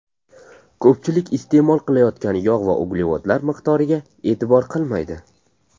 Ko‘pchilik iste’mol qilayotgan yog‘ va uglevodlar miqdoriga e’tibor qilmaydi.